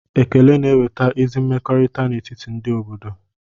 Ekele na-eweta ezi mmekọrịta n'etiti ndị obodo.